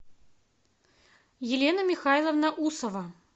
елена михайловна усова